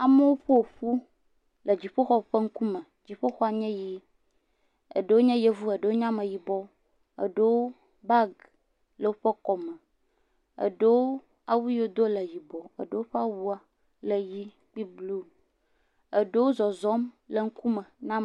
Amewo ƒo ƒu le dziƒoxɔ ƒe ŋkume. Dziƒoxɔ nye ʋee. Eɖewo nye Yevu, eɖewo nye Ameyibɔ. Eɖewo, bagi le woƒe kɔme. eɖewo, awu yi wodo le yibɔ, eɖewo ƒe awua le yii kple bluu. Eɖewo zɔzɔm le ŋkume na m.